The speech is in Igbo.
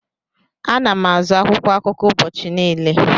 Ana m azụ akwụkwọ akụkọ ụbọchị niile.